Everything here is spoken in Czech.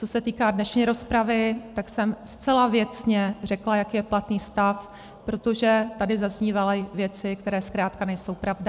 Co se týká dnešní rozpravy, tak jsem zcela věcně řekla, jaký je platný stav, protože tady zaznívaly věci, které zkrátka nejsou pravda.